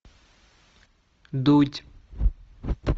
дудь